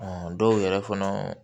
dɔw yɛrɛ fana